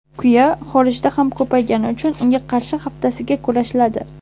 Kuya xorijda ham ko‘paygani uchun unga qarshi haftasiga kurashiladi.